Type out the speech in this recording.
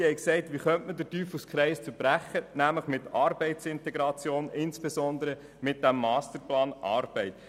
Sie haben überlegt, wie der Teufelskreis durchbrochen werden könnte, nämlich mit Arbeitsintegration, insbesondere mit dem Masterplan Arbeit.